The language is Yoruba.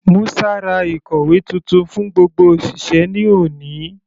Musa ra ìkòwé titun fún gbogbo òṣìṣẹ́ ní òní.